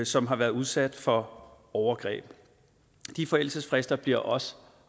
som har været udsat for overgreb de forældelsesfrister bliver også